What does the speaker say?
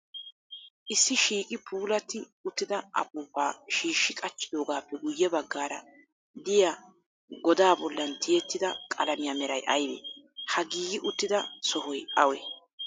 Issi shiiqi puulatti uttida apuupaa shiishshi qachchidoogaappe guyye baggaara diya godaa bollan tiyettida qalamiya meray ayibee? Ha giigi uttida sohoy awee?